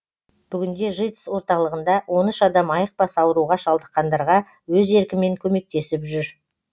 бүгінде житс орталығында он үш адам айықпас ауруға шалдыққандарға өз еркімен көмектесіп жүр